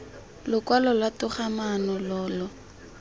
lokwalo lwa togamaano lo lo